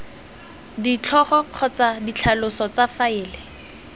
ditlhogo kgotsa ditlhaloso tsa faele